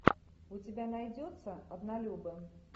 у тебя найдется однолюбы